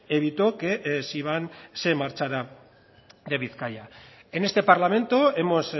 evitó que siban se marchara de bizkaia en este parlamento hemos